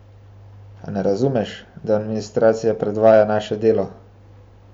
A ne razumeš, da administracija podvaja naše delo?